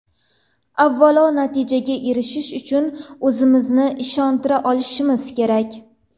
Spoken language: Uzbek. Avvalo, natijaga erishish uchun o‘zimizni ishontira olishimiz kerak.